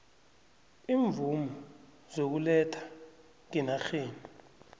iimvumo zokuletha ngenarheni